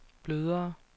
blødere